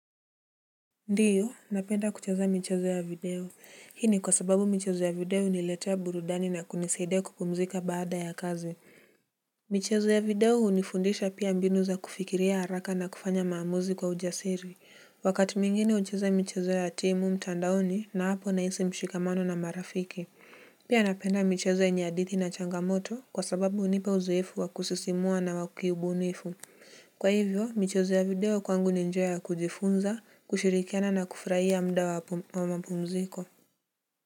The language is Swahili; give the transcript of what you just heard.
Ndiyo, napenda kucheza michezo ya video. Hii ni kwa sababu michezo ya video huniletea burudani na kunisaidia kupumzika baada ya kazi. Michezo ya video hunifundisha pia mbinu za kufikiria haraka na kufanya maamuzi kwa ujasiri. Wakati mwingine hucheza michezo ya team mtandaoni na hapo nahisi mshikamano na marafiki. Pia napenda michezo yenye hadithi na changamoto kwa sababu hunipa uzoefu wa kusisimua na wa kiubunifu. Kwa hivyo, michezo ya video kwangu ni njia ya kujifunza kushirikiana na kufurahia muda wa ma pumziko.